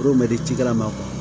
K'o mɛn di cikɛla ma